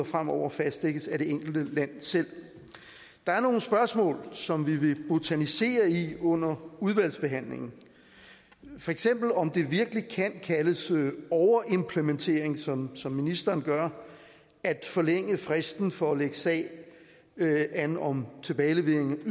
fremover fastsættes af det enkelte land selv der er nogle spørgsmål som vi vil botanisere i under udvalgsbehandlingen for eksempel om det virkelig kan kaldes overimplementering som som ministeren gør at forlænge fristen yderligere for at lægge sag an om tilbagelevering